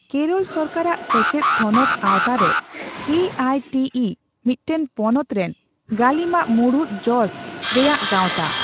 ᱠᱮᱨᱚᱞ ᱥᱚᱨᱠᱟᱨᱟᱜ ᱥᱮᱪᱮᱫ ᱛᱷᱚᱱᱚᱫ ᱟᱣᱛᱟᱨᱮ ᱠᱮᱹᱟᱭᱹᱴᱤᱹᱤ ᱢᱤᱫᱴᱟᱝ ᱯᱚᱱᱚᱛ ᱨᱮᱱ ᱜᱟᱹᱞᱤᱢᱟᱜ ᱢᱩᱬᱩᱫ ᱡᱚᱥ ᱨᱮᱭᱟᱜ ᱜᱟᱣᱛᱟ ᱾